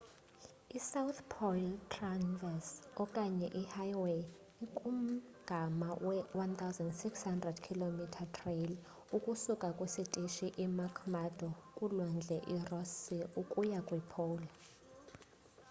i south pole traverse okanye i highway ikumgama we 1600 km trail ukusuka kwisitishi i mcmurdo kulwandle i ross sea ukuya kwi pole